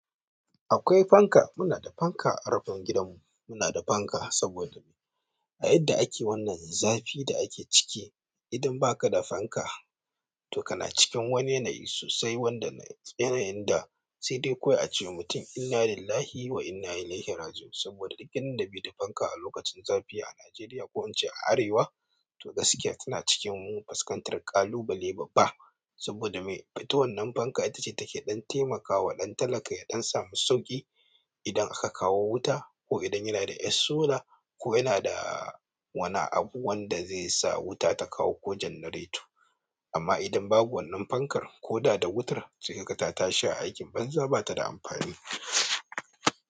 Akwai fanka, kuna da fanka a rufin gidanku muna da fanka saboda me? A yadda ake wannan zafi da ake ciki, idan baka da fanka to kana cikin wani yanayi sosai wanda yanayin da sai dai kawai a ce wa mutum inna lillahi wa inna ilaihi raji'un saboda duk inda bai da fanka a lokacin zafi a Najeriya ko in ce a arewa to gaskiya tana cikin faskantar ƙalubale babba. Saboda me? Ita wannan fanka ita ce take ɗan taimakawa ɗan talaka ya ɗan samu sauƙi idan aka kawo wuta ko idan yana da yar sola ko yana da wani abu wanda zai sa wuta ta kawo ko generator. Amma idan babu wannan fankar koda da wutar sai kaga ta tashi a aiki banza bata da amfani.